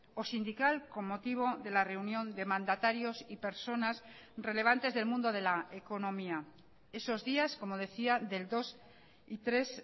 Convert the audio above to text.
o sindical con motivo de la reunión de mandatarios y personas relevantes del mundo de la economía esos días como decía del dos y tres